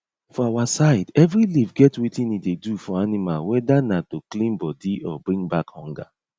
for our side every leaf get wetin e dey do for animalwhether na to clean body or bring back hunger